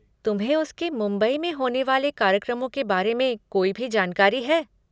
तुम्हें उसके मुंबई में होने वाले कार्यक्रमों के बारे में कोई भी जानकारी है?